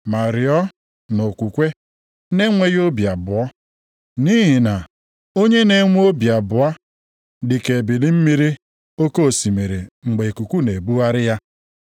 Ma rịọọ nʼokwukwe na-enweghị obi abụọ, nʼihi na onye na-enwe obi abụọ dị ka ebili mmiri oke osimiri mgbe ikuku na-ebugharị ya.